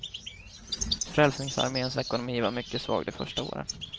Frälsningsarméns ekonomi var mycket svag de första åren.